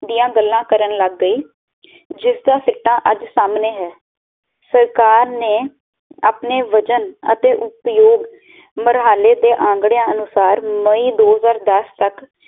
ਦੀਆ ਗੱਲਾਂ ਕਰਨ ਲੱਗ ਗਈ ਜਿਸ ਦਾ ਸਿੱਟਾ ਅੱਜ ਸਾਮਣੇ ਹੈ ਸਰਕਾਰ ਨੇ ਆਪਣੇ ਵਜਨ ਅਤੇ ਉਪਯੋਗ ਮਰਹਾਲੇ ਦੇ ਅਗੜੇਆਂ ਅਨੁਸਾਰ ਮਈ ਦੋ ਹਜ਼ਾਰ ਦਸ ਤਕ